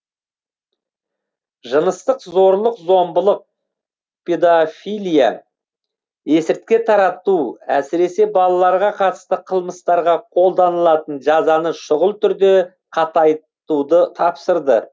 жыныстық зорлық зомбылық педофилия есірткі тарату әсіресе балаларға қатысты қылмыстарға қолданылатын жазаны шұғыл түрде қатайтуды тапсырды